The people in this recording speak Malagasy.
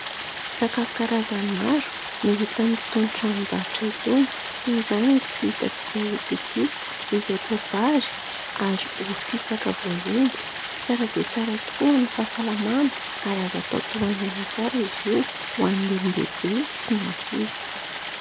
Sakafo karazany maro no hita amin'itony tranombarotra itony. Toy izany ity hitatsika eto ity, izay poa-bary ary ovy fisaka voaendy. Tsara dia tsara tokoa ho an'ny fahasalamana, ary azo atao tohan'aina tsara izy io, ho an'ny olona lehibe sy ny ankizy.